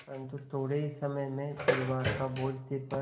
परन्तु थोडे़ ही समय में परिवार का बोझ सिर पर